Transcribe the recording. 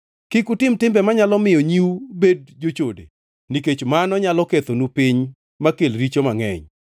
“ ‘Kik utime timbe manyalo miyo nyiu bed jochode, nikech mano nyalo kethonu piny makel richo mangʼeny.